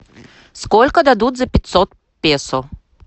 сколько дадут за пятьсот песо